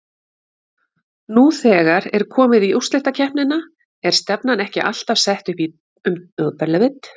Nú þegar er komið í úrslitakeppnina er stefnan ekki alltaf sett upp um deild?